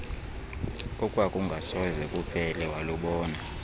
okwakungasoze kuphele walubona